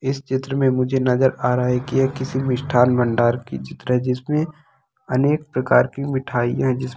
इस चित्र मे मुझे नजर आ रहा है की यह किसी मिष्ठान भंडार की चित्र है जिसमे अनेक प्रकार की मिठाईया जिस--